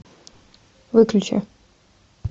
выключи